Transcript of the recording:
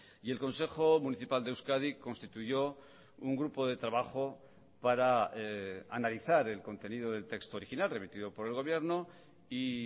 y el consejo municipal de euskadi constituyó un grupo de trabajo para analizar el contenido del texto original remitido por el gobierno y